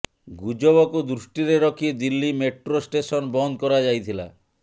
ଗୁଜବକୁ ଦୃଷ୍ଟିରେ ରଖି ଦିଲ୍ଲୀ ମେଟ୍ରୋ ଷ୍ଟେସନ ବନ୍ଦ କରାଯାଇଥିଲା